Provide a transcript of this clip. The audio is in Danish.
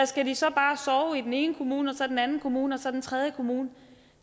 skal de så bare sove i den ene kommune og så i den anden kommune og så den tredje kommune